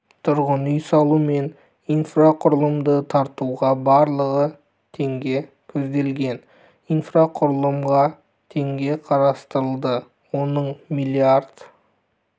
тұрғын үй салу мен инфрақұрылымды тартуға барлығы теңге көзделген инфрақұрылымға теңге қарастырылды оның млрд